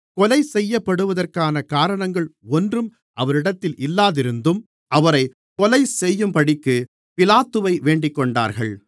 கொலை செய்யப்படுவதற்கான காரணங்கள் ஒன்றும் அவரிடத்தில் இல்லாதிருந்தும் அவரைக் கொலைசெய்யும்படிக்குப் பிலாத்துவை வேண்டிக்கொண்டார்கள்